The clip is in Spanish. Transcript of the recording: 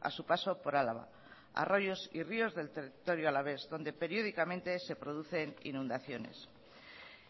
a su paso por álava arroyos y ríos del territorio alavés donde periódicamente se producen inundaciones